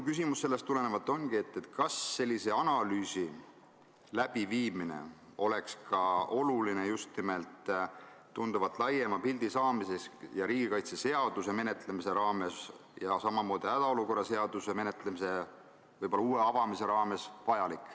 Sellest tulenevalt ma küsin, kas sellise analüüsi läbiviimine oleks ka oluline just nimelt tunduvalt laiema pildi saamiseks ning riigikaitseseaduse ja samamoodi hädaolukorra seaduse menetlemise raames, võib-olla uue avamise raames, vajalik.